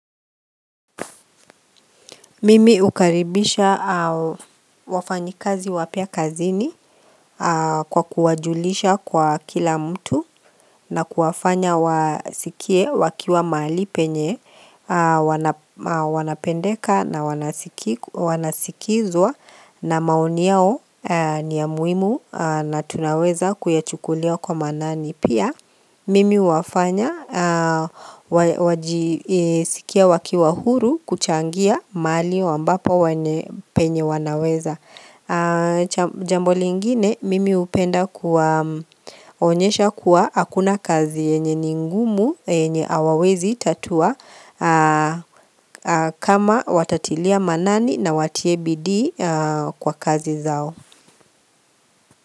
Mimi ukaribishaji hao wafanya kazi wake kazini kwa kuwajulisha kwa kila mtu na kuwafanya wasikie wakiwa malaika hawafanyi napendeka wanasikika wanasikilizwa na maoni yao la muhimu maana tunaweza kuchukulia kwa manani pia wanapendeka na wanasikizwa na maoni yao jambo lingine mimi hupenda kuwaonyesha kuwa hakuna kazi yenye ni ngumu yenye hawawezi tatua Jambo lingine, mimi upenda kuwa onyesha kuwa hakuna kazi enye ningumu enye awawezi tatua.